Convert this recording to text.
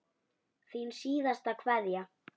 Þín síðasta kveðja.